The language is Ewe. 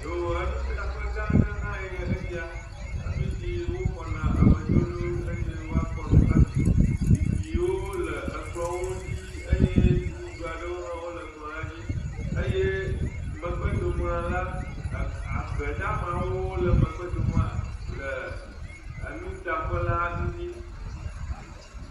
Yoo, enuɖaƒe gã aɖe hãe nye esia, afi si woxɔna amedzro ɖo eye woakpɔ nu aɖu, zikpiwo le ekplɔ̃wo ŋtsi eye nɔɖuɖu aɖewo hã wole kplɔ̃a dzi, eye megbedoma la, e agbe damawo le megbedoŋɔa le enuɖaƒe la ŋtsi.